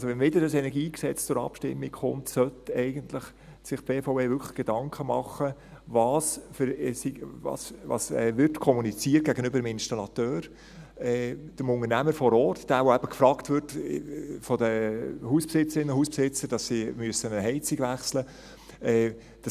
Wenn also wieder ein KEnG zur Abstimmung kommt, sollte sich die BVE eigentlich wirklich Gedanken machen, was gegenüber dem Installateur kommuniziert wird, gegenüber dem Unternehmer vor Ort, der von den Hausbesitzerinnen und Hausbesitzern gefragt wird, weil sie eine Heizung auswechseln müssen.